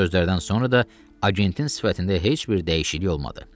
Bu sözlərdən sonra da agentin sifətində heç bir dəyişiklik olmadı.